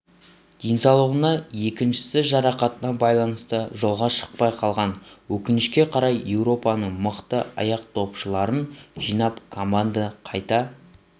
денсаулығына екіншісі жарақатына байланыста жолға шықпай қалған өкінішке қарай еуропаның мықты аяқдопшыларын жинап команданы қайта